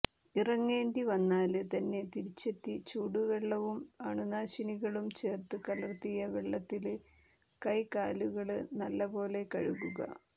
ഇറങ്ങേണ്ടി വന്നാല് തന്നെ തിരിച്ചെത്തി ചൂടുവെള്ളവും അണുനാശിനികളും ചേര്ത്തു കലര്ത്തിയ വെള്ളത്തില് കൈ കാലുകള് നല്ലപോലെ കഴുകുക